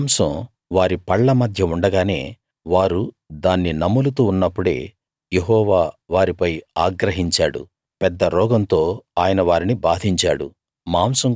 ఆ మాంసం వారి పళ్ళ మధ్య ఉండగానే వారు దాన్ని నములుతూ ఉన్నప్పుడే యెహోవా వారిపై ఆగ్రహించాడు పెద్ద రోగంతో ఆయన వారిని బాధించాడు